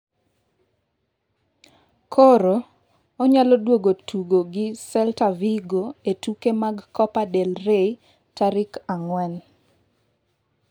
Koro, onyalo duogo tugo gi Celta Vigo e tuke mag Copa del Rey tarik ang'wen.